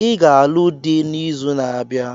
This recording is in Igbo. I ga-alụ dị n'izu na-abịa.